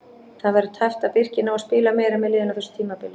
Það verður tæpt að Birkir nái að spila meira með liðinu á þessu tímabili.